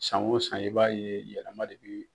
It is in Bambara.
San o san e b'a ye yɛlɛma de bi